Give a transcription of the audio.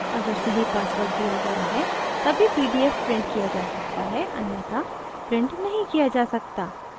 अगर सही password दिया गया है the pdf printed किया जा सकता है अन्यथा printed नही किया जा सकता